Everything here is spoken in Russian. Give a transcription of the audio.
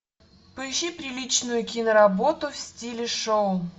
поищи приличную киноработу в стиле шоу